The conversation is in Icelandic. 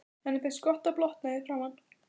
Henni finnst gott að blotna í framan.